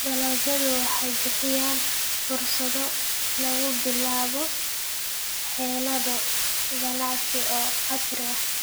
Dalagyadu waxay bixiyaan fursado lagu bilaabo xeelado ganacsi oo casri ah.